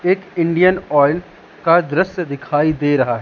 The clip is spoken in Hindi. एक इंडियन ऑयल का दृश्य दिखाई दे रहा है।